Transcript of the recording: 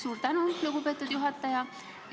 Suur tänu, lugupeetud juhataja!